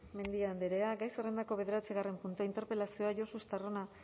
mendia andrea gai zerrendako bederatzigarren puntua interpelazioa josu estarrona